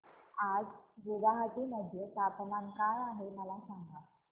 आज गुवाहाटी मध्ये तापमान काय आहे मला सांगा